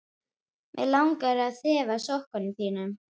Mig langar að þefa af sokkum þínum.